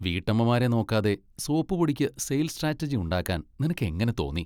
വീട്ടമ്മമാരെ നോക്കാതെ സോപ്പുപൊടിക്ക് sales strategy ഉണ്ടാക്കാൻ നിനക്ക് എങ്ങനെ തോന്നി?!